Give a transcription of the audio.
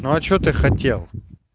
ну а что ты хотел